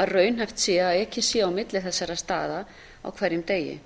að raunhæft sé að ekið sé á milli þessara staða á hverjum degi